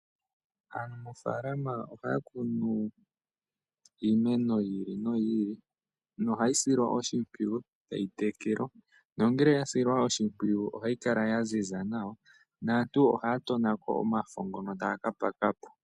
Aanafaalama ohaya kunu iimeno yi ili noyi ili nohayi silwa oshimpwiyu tayi tekelwa nongele ya silwa oshimpwiyu ohayi kala ya ziza nawa naantu ohaya tonako omafo ngono taya kapakapo.